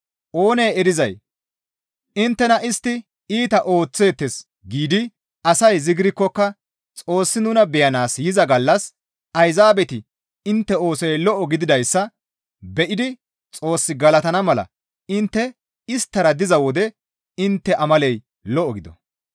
Oonee erizay, «Inttena istti iita ooththeettes» giidi asay zigirkkoka Xoossi nuna beyanaas yiza gallas Ayzaabeti intte oosoy lo7o gididayssa be7idi Xoos galatana mala intte isttara diza wode intte amaley lo7o gido.